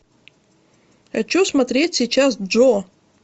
хочу смотреть сейчас джо